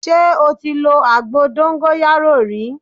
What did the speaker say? Ṣé o lo àgbo dóńgóyárò rí?